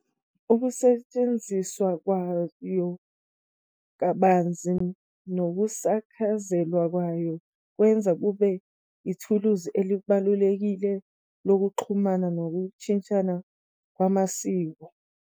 Ukusetshenziswa kwayo kabanzi nokusakazeka kwayo kwenza kube ithuluzi elibalulekile lokuxhumana nokushintshana ngamasiko.